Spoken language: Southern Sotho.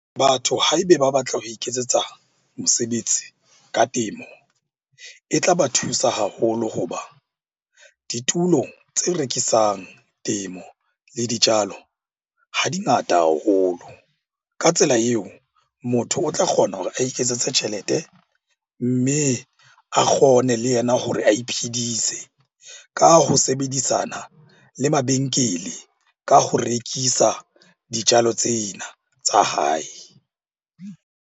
Batho ha ebe ba batla ho iketsetsa mosebetsi ka temo, e tla ba thusa haholo ho ba ditulo tse rekisang temo le dijalo ha di ngata haholo. Ka tsela eo, motho o tla kgona hore a iketsetse tjhelete. Mme a kgone le yena hore a iphidise ka ho sebedisana le mabenkele ka ho rekisa dijalo tsena tsa hae.